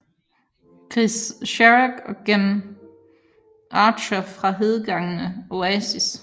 Chris Sharrock og Gem Archer fra hedengangne Oasis